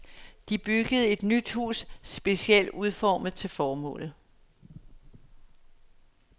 De byggede et nyt hus, specielt udformet til formålet.